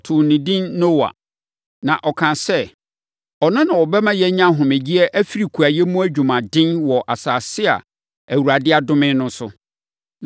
Ɔtoo no edin Noa, na ɔkaa sɛ, ɔno na ɔbɛma yɛanya ahomegyeɛ afiri kuayɛ mu adwumaden wɔ asase a Awurade adome no so.